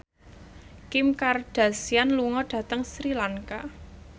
Kim Kardashian lunga dhateng Sri Lanka